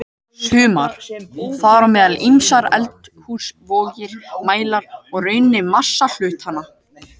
Sumar, þar á meðal ýmsar eldhúsvogir, mæla í rauninni massa hlutanna.